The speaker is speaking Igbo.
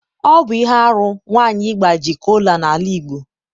ọ bụ ihe arụ nwanyị agbaji kola n'ala Igbo.